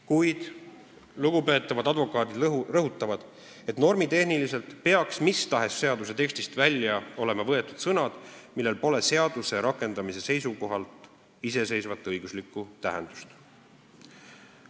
Kuid lugupeetavad advokaadid rõhutavad, et normitehniliselt peaks mis tahes seaduse tekstist olema välja võetud sõnad, millel pole seaduse rakendamise seisukohalt iseseisvat õiguslikku tähendust.